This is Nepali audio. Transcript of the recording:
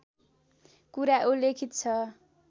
कुरा उल्लिखित छ